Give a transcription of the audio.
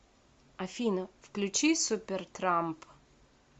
афина включи супертрамп